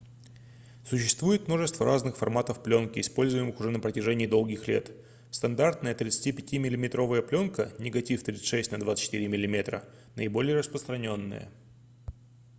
существует множество разных форматов пленки используемых уже на протяжении долгих лет. стандартная 35-миллиметровая пленка негатив 36 на 24 мм — наиболее распространенная